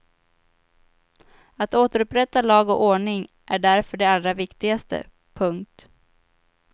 Att återupprätta lag och ordning är därför det allra vikigaste. punkt